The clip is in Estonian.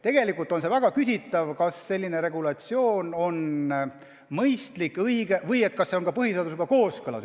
Tegelikult on väga küsitav, kas selline regulatsioon on mõistlik ja õige, kas see üldse on põhiseadusega kooskõlas.